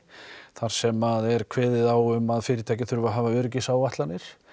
þar sem að er kveðið á um að fyrirtæki þurfa að hafa öryggisáætlanir